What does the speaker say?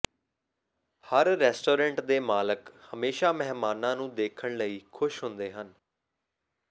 ਹਰ restaurant ਦੇ ਮਾਲਕ ਹਮੇਸ਼ਾ ਮਹਿਮਾਨਾਂ ਨੂੰ ਦੇਖਣ ਲਈ ਖੁਸ਼ ਹੁੰਦੇ ਹਨ